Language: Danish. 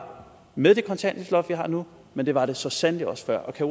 med det kontanthjælpsloft vi har nu men det var det så sandelig også før kan